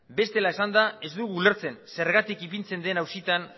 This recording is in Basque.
bestela esanda ez dugu ulertzen zergatik ipintzen den auzitan